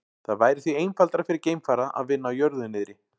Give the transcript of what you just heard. Það væri því einfaldara fyrir geimfara að vinna á jörðu niðri.